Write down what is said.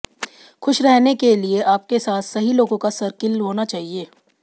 खुश रहने के लिए आपके साथ सही लोगों का सर्किल होना चाहिए